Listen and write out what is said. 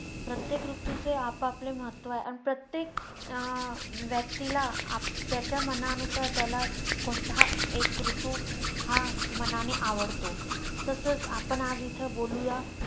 प्रत्येक ऋतूचे आपापले महत्व आहे. प्रत्येक अं व्यक्तीला आप~ त्याच्या मनानुसार त्याला कोणताही एक ऋतू हा मनाने आवडतो. तसेच आपण आज इथं बोलूया